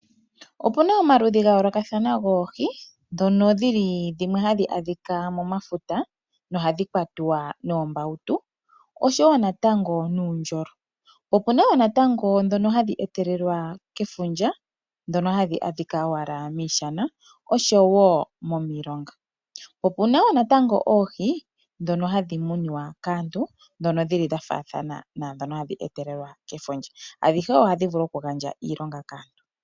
Opuna omaludhi ga yoolokathana goohi ndhono dhili dhimwe hadhi adhika momafuta no hadhi kwatwa noombautu oshowo natango nuundjolo , opuna woo natango ndhono hadhi etelelwa kefundja ndhono hadhi adhika owala moshana oshowo momilonga hadhi etelelwa kefundja ,adhihe ohadhi vulu oku gandja iilonga kaantu.